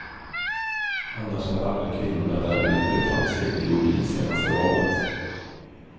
Annars hade aldrig kvinnorna där gjort de framsteg de gjorde i senaste valet.